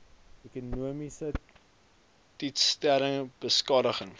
ekonomiese teistering beskadiging